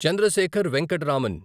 Chandrasekhar Venkata Raman